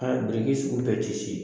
A sugu bɛɛ ti se.